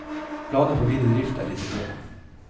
Planer for videre drift er i det blå.